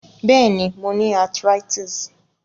Béèni, mo ni arthritis